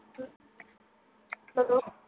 sadobe